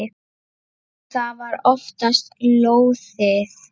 Og það var oftast lóðið.